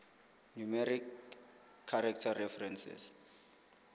numeric character references